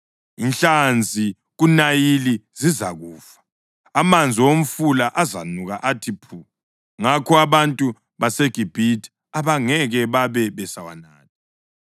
Inhlanzi kuNayili zizakufa, amanzi omfula azanuka athi phu, ngakho abantu baseGibhithe abangeke babe besawanatha.’ ”